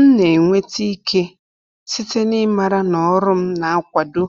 M na-enweta ike site n’ịmara na ọrụ m na-akwado